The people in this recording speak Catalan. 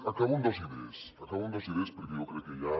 acabo amb dos idees acabo amb dos idees perquè jo crec que ja